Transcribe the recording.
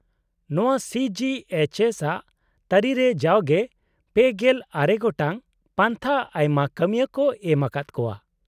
- ᱱᱚᱶᱟ C G H S ᱟᱜ ᱛᱟᱹᱨᱤᱨᱮ ᱡᱟᱣᱜᱮ ᱓᱙ ᱜᱚᱴᱟᱝ ᱯᱟᱱᱛᱷᱟ ᱟᱭᱢᱟ ᱠᱟᱹᱢᱤᱭᱟᱹ ᱠᱚ ᱮᱢ ᱟᱠᱟᱫ ᱠᱚᱣᱟ᱾